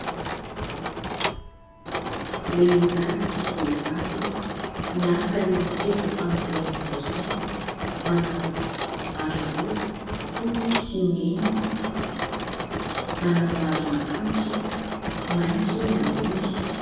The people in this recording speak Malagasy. Lehilahy sy vehivavy miasa eo amin'ny toeram-panorenana iray manao aroloha fotsy sy mena, manao aron'akanjo maitso ny ambony.